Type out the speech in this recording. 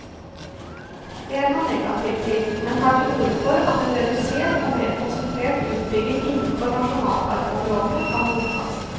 Det er han negativ til, men tar til orde for at en redusert og mer konsentrert utbygging innenfor nasjonalparkområdene kan godtas.